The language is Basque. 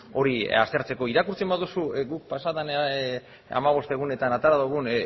hori aztertzeko irakurtzen baduzu guk pasa den hamabost egunetan atera dugun